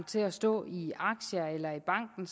til at stå i aktier eller i banken